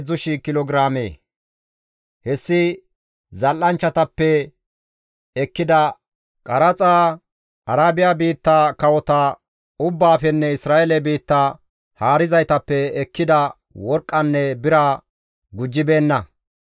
Hessi zal7anchchatappe ekkida qaraxa, Arabiya biitta kawota ubbaafenne Isra7eele biitta haarizaytappe ekkida worqqanne biraa gujjibeenna.